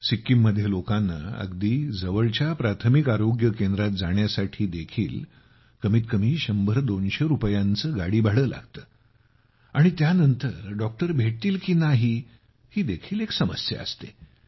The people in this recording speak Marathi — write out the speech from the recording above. सिक्कीम मध्ये लोकांना अगदी जवळच्या आरोग्य केंद्रात जाण्यासाठी देखील कमीतकमी शंभरदोनशे रुपयाचे गाडीभाडे लागते आणि त्यानंतर देखील डॉक्टर मिळतील की नाही ही देखील एक समस्या असते